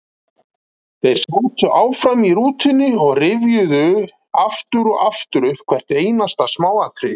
Þeir sátu áfram í rútunni og rifjuðu aftur og aftur upp hvert einasta smáatriði.